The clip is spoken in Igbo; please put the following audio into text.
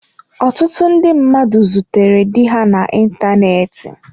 Ọtụtụ ndị mmadụ zutere di ha na ịntanetị.